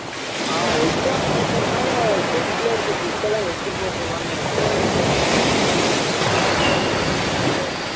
ஆஹ் exam நடக்கிறதுனால desk இருக்க book எல்லாம் எடுத்துட்டு போக சொல்லுவாங்கன்னு நினைக்கிறேன் விவேக் திங்கட்கிழமை